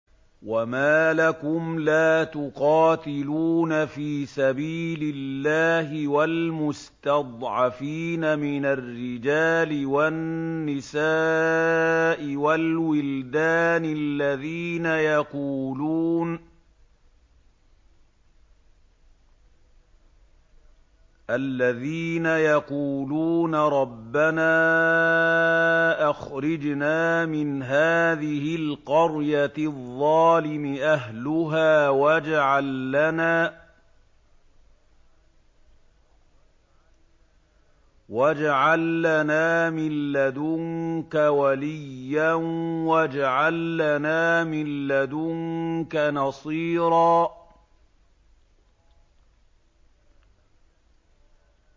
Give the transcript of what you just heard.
وَمَا لَكُمْ لَا تُقَاتِلُونَ فِي سَبِيلِ اللَّهِ وَالْمُسْتَضْعَفِينَ مِنَ الرِّجَالِ وَالنِّسَاءِ وَالْوِلْدَانِ الَّذِينَ يَقُولُونَ رَبَّنَا أَخْرِجْنَا مِنْ هَٰذِهِ الْقَرْيَةِ الظَّالِمِ أَهْلُهَا وَاجْعَل لَّنَا مِن لَّدُنكَ وَلِيًّا وَاجْعَل لَّنَا مِن لَّدُنكَ نَصِيرًا